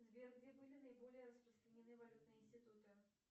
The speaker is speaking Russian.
сбер где были наиболее распространены валютные институты